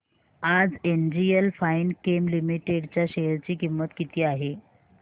आज NGL Finechem limited च्या share ची किंमत किती आहे